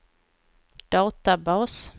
databas